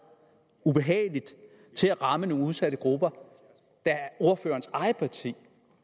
ubehageligt til at ramme nogle udsatte grupper da ordførerens eget parti